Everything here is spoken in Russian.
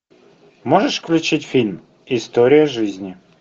можешь включить фильм история жизни